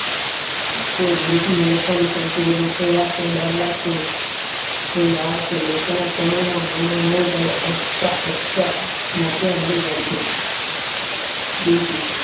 કોઈ group ના લોકો ને સૌથી વધુ ઉપયોગી વાતનો ડર લાગતો હોય તો એ આ છે લોકોના સમુહમાં બોલવાનું હોય ત્યારે અચતા અચતા મોતિય મરી જાય છે બીજુ